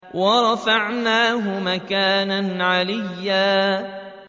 وَرَفَعْنَاهُ مَكَانًا عَلِيًّا